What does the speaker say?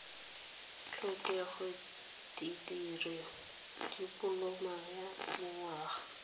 tlhokega dikirii dipoloma ya dinyaga